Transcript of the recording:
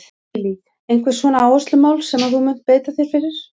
Lillý: Einhver svona áherslumál sem að þú munt beita þér fyrir?